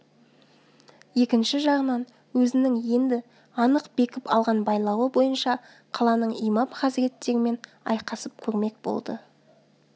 екінші жағынан өзінің енді анық бекіп алған байлауы бойынша қаланың имам хазіреттерімен айқасып көрмек болды